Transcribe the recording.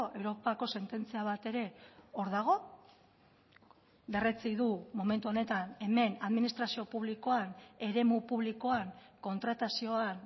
europako sententzia bat ere hor dago berretsi du momentu honetan hemen administrazio publikoan eremu publikoan kontratazioan